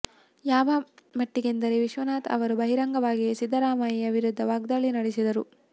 ಯಾವ ಮಟ್ಟಿಗೆಂದರೆ ವಿಶ್ವನಾಥ್ ಅವರು ಬಹಿರಂಗವಾಗಿಯೇ ಸಿದ್ದರಾಮಯ್ಯ ವಿರುದ್ಧ ವಾಗ್ದಾಳಿ ನಡೆಸಿದರು